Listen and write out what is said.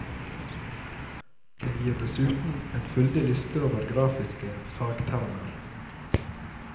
Den gir dessuten en fyldig liste over grafiske fagtermer.